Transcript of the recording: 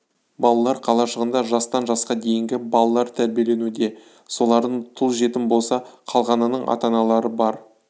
балалар қалашығында жастан жасқа дейінгі балалар тәрбиеленуде солардың тұл жетім болса қалған ының ата-аналары бар